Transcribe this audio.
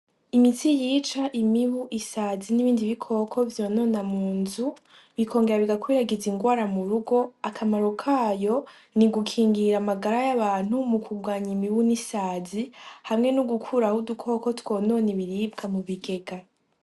Imiti yica imibu, inzasi nibindi bikoko vyonona munzu bikongera bigakwirakwiza ingwara murugo .Akamaro kayo ni gukingira amagara yabantu no mukugwanya imibu, ninsazi hamwe nogukuraho udukoko tumwe natumwe twonona ibiribga mu bigega